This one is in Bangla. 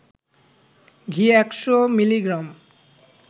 ঘি ১০০ মিলি গ্রাম